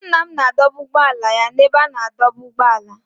Nna m na-adọba ụgbọala ya n'ebe a na-adọba ụgbọala.